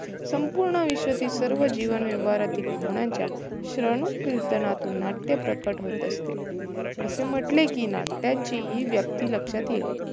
संपूर्ण आयुष्यातील सर्व जीवन व्यवहारातील भावनांच्या श्रावण कीर्तनातून नाटय प्रगट होत असते. असे म्हटले कि नाट्याची हि व्याप्यी लक्षात येईल.